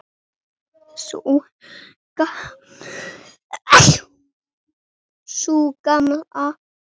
Sú Gamla?